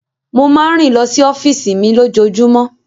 Mo máa ń rìn lọ sí ọ́fíìsì mi lójoojúmọ́.